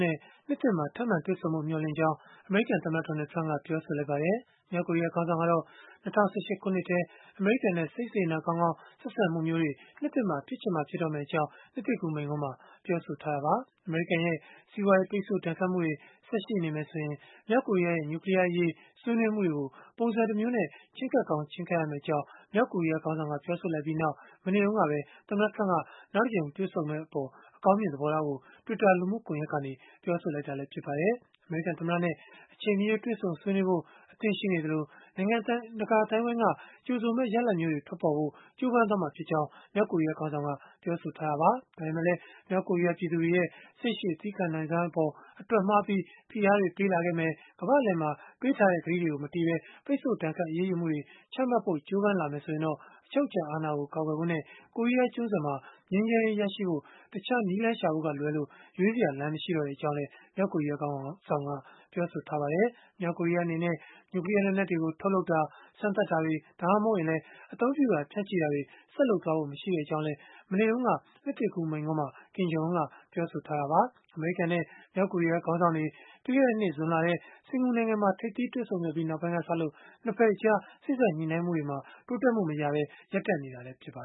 နဲ့ နှစ်သစ်မှာ ထပ်မံတွေ့ဆုံဖို့ မျှော်လင့်ကြောင်း အမေရိကန်သမ္မတ Donald Trump က ပြောဆိုလိုက်ပါတယ်။ မြောက်ကိုရီးယား ခေါင်းဆောင်ကတော့ ၂၀၁၈ ခုနှစ်ထဲ အမေရိကန်နဲ့ စိတ်စေတနာကောင်းကောင်း ဆက်ဆံမှုမျိုးတွေ နှစ်သစ်မှာ ဖြစ်ချင်မှ ဖြစ်တော့မယ့်အကြောင်း နှစ်သစ်ကူးမိန့်ခွန်းမှာ ပြောဆိုထားတာပါ။ အမေရိကန်ရဲ့ စီးပွားရေး ပိတ်ဆို့ဒဏ်ခတ်မှုတွေ ဆက်ရှိနေမယ်ဆိုရင် မြောက်ကိုရီးယားရဲ့ နျူကလီးယားအရေး ဆွေးနွေးမှုတွေကို ပုံစံတမျိုးနဲ့ ချဉ်းကပ်ကောင်း ချဉ်းကပ်ရမယ့်အကြောင်း မြောက်ကိုရီးယား ခေါင်းဆောင်က ပြောဆိုလိုက်ပြီးနောက် မနေ့တုန်းကပဲ သမ္မတ Trump က နောက်တကြိမ် တွေ့ဆုံမှုအပေါ် အကောင်းမြင် သဘောထားကို Twitter လူမှုကွန်ရက်ကနေ ပြောဆိုလိုက်တာ ဖြစ်ပါတယ်။ အမေရိကန်သမ္မတနဲ့ အချိန်မရွေး တွေ့ဆုံဆွေးနွေးဖို့ အသင့်ရှိနေသလို၊ နိုင်ငံတကာ အသိုင်းအဝန်းက ကြိုဆိုမယ့် ရလဒ်မျိုးတွေ ထွက်ပေါ်ဖို့ ကြိုးပမ်းသွားမှာ ဖြစ်ကြောင်းလည်း မြောက်ကိုရီးယား ခေါင်းဆောင်က ပြောဆိုထားတာပါ။ ဒါပေမဲ့လည်း မြောက်ကိုရီးယား ပြည်သူတွေရဲ့ စိတ်ရှည်သည်းခံနိုင်စွမ်းအပေါ် အတွက်မှားပြီး၊ ဖိအားတွေ ပေးလာခဲ့မယ်၊ ကမ္ဘာ့အလယ်မှာ ပေးထားတဲ့ ကတိမတည်ဘဲ ပိတ်ဆို့ဒဏ်ခတ် အရေးယူမှုတွေ ချမှတ်ဖို့ ကြိုးပမ်းလာမယ် ဆိုရင်တော့ အချုပ်အခြာအာဏာကို ကာကွယ်ဖို့နဲ့ ကိုရီးယားကျွန်းဆွယ်မှာ ငြိမ်းချမ်းရေးရရှိဖို့ တခြားနည်းလမ်းရှာဖို့ကလွဲပြီး ရွေးစရာ မရှိတော့ကြောင်းလည်း ပြောဆိုခဲ့ပါတယ်။ မြောက်ကိုရီးယားအနေနဲ့ နျူကလီးယား လက်နက်တွေကို ထုတ်လုပ်တာ၊ စမ်းသပ်တာတွေ ဒါမှမဟုတ် အသုံးပြုတာ၊ ဖြန့်ချီတာတွေလည်း ဆက်လုပ်ဖို့ မရှိကြောင်းလည်း မနေ့တုန်းက နှစ်သစ်ကူးမိန့်ခွန်းမှာ Kim Jong Un ကပြောဆိုခဲ့တာပါ။ အမေရိကန်နဲ့ မြောက်ကိုရီးယားခေါင်းဆောင်တွေ ပြီးခဲ့တဲ့နှစ် ဇွန်လထဲ စင်္ကာပူနိုင်ငံမှာ ထိပ်သီးတွေ့ဆုံခဲ့ပြီး နောက်ပိုင်းကစလို့ ၂ ဘက်အကြား စေ့စပ်ညှိနှိုင်းမှုတွေ တိုးတက်မှုမရဘဲ ရပ်တန့်နေတာလည်း ဖြစ်ပါ